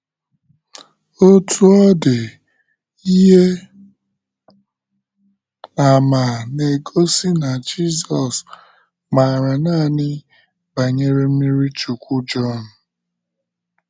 Otú ọ dị, ihe àmà na - egosi na Jizọs maara nanị banyere mmiri Chukwu Jọn. ’